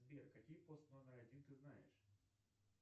сбер какие пост номер один ты знаешь